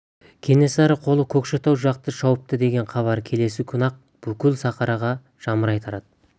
кенесары қолы көкшетау жақты шауыпты деген хабар келесі күні-ақ бүкіл сарыарқаға жамырай тарады